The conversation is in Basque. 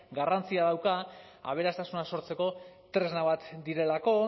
garrantzia dauka aberastasuna sortzeko tresna bat direlako